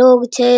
लोग छै।